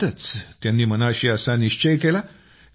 त्यातच त्यांनी मनाशी असा निश्चय केला